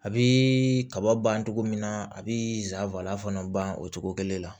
A bɛ kaba ban cogo min na a bɛ zaban fana ban o cogo kelen la